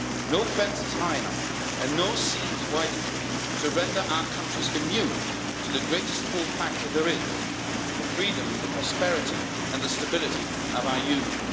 No fence is high enough and no sea is wide enough to render our countries immune to the greatest pull factor there is the freedom, the prosperity and the stability of our Union.